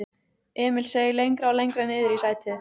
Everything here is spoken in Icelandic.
Emil seig lengra og lengra niðrí sætið.